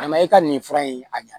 A ma e ka nin fura in a ɲa